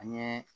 An ye